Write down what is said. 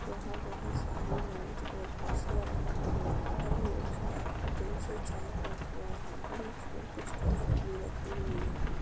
यहाँं बहुत सारी मेज और कुर्सियाँ रखी हुई हैं। हर मेज पर दो से चार कुर्सियाँ हैं। बीच में कुछ काफी भी रखी हुई हैं।